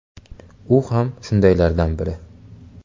U ham shundaylardan biri.